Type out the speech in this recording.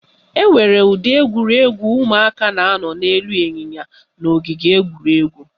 Enwere udiri egwuregwu ụmụaka na-anọ n'elu ịnyịnya n'ogige egwuregwu